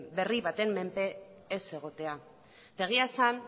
berri baten menpe ez egotea eta egia esan